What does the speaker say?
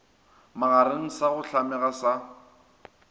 magareng sa go hlamega sa